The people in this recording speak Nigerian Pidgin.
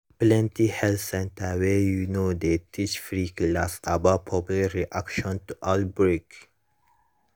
plenty health center wey you know dey teach free class about public reaction to outbreak